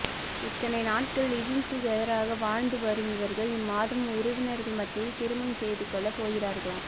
இத்தனை நாட்கள் லிவ்விங் டூ கெதராக வாழ்ந்து வரும் இவர்கள் இம்மாதம் உறவினர்கள் மத்தியில் திருமணம் செய்துக்கொள்ள போகிறார்களாம்